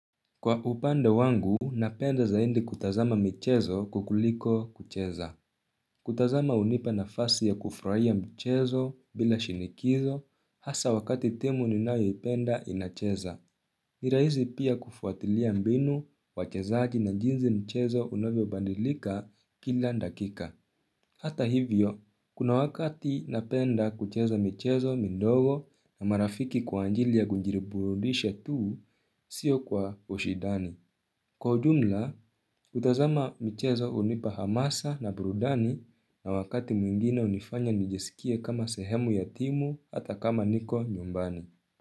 Kwa upande wangu, napenda zaidi kutazama mchezo kukuliko kucheza. Kutazama hunipa nafasi ya kufurahia mchezo bila shinikizo, hasa wakati timu ninayoipenda inacheza. Ni rahisi pia kufuatilia mbinu, wachezaji na jinsi mchezo unavyobadilika kila dakika. Hata hivyo, kuna wakati napenda kucheza mchezo midogo na marafiki kwa ajili ya kujiriburudisha tu, sio kwa ushidani. Kwa ujumla, kutazama michezo hunipa hamasa na burudani na wakati mwingine hunifanya nijisikie kama sehemu ya timu hata kama niko nyumbani.